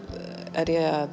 er ég að